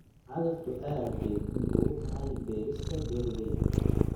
Cagaftu aad bay muhiim ugu tahay beerista beer weyn.